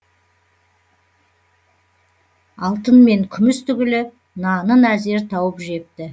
алтын мен күміс түгілі нанын әзер тауып жепті